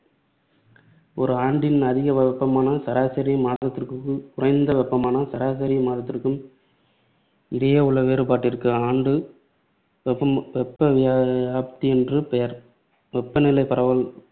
ஒரு ஆண்டின் அதிகவெப்பமான சராசரி மாதத்திற்கும் குறைந்த வெப்பமான சராசரி மாதத்திற்கும் இடையேயுள்ள வேறுபாட்டிற்கு ஆண்டு வெப்ப வெப்பவியாப்தி என்று பெயர். வெப்பநிலை பரவல்